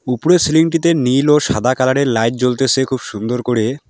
উপরে সিলিং -টিতে নীল ও সাদা কালার -এর লাইট জ্বলতেসে খুব সুন্দর করে।